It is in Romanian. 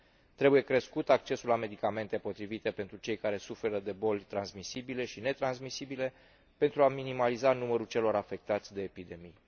Trebuie crescut accesul la medicamente potrivite pentru cei care suferă de boli transmisibile și netransmisibile, pentru a minimaliza numărul celor afectați de epidemie.